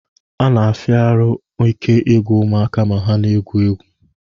Ọ na-afịa ahụ ike igwụ ụmụaka ma ha na-egwu egwu